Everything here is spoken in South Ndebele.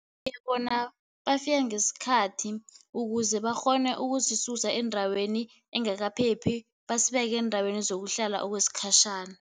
bona bafika ngesikhathi, ukuze bakghone ukusisusa endaweni engakaphephi basibeke eendaweni zokuhlala okwesikhatjhana.